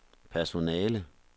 personale